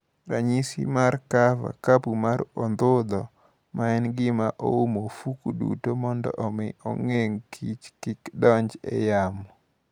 Ranyisi mar Cover (Kapu mar Odhudho) Ma en gima umo ofuko duto mondo omi ogeng' kich kik donj e yamo.